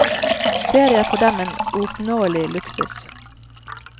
Ferie er for dem en uoppnåelig luksus.